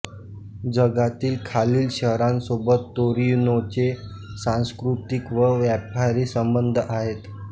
जगातील खालील शहरांसोबत तोरिनोचे सांस्कृतिक व व्यापारी संबंध आहेत